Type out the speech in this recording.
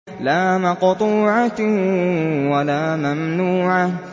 لَّا مَقْطُوعَةٍ وَلَا مَمْنُوعَةٍ